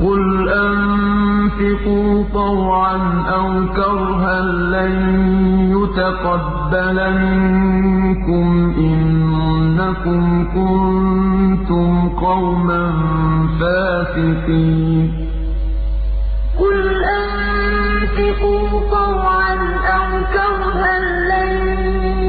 قُلْ أَنفِقُوا طَوْعًا أَوْ كَرْهًا لَّن يُتَقَبَّلَ مِنكُمْ ۖ إِنَّكُمْ كُنتُمْ قَوْمًا فَاسِقِينَ قُلْ أَنفِقُوا طَوْعًا أَوْ كَرْهًا لَّن